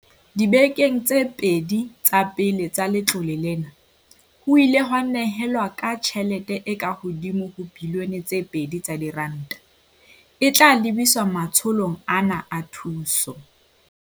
Dibekeng tse pedi tsa pele tsa letlole lena, ho ile ha nyehelwa ka tjhelete e ka hodimo ho R2 bilione, e tla lebiswa matsholong ana a thuso.